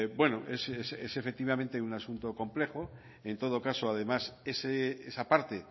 bueno es efectivamente un asunto complejo en todo caso además esa parte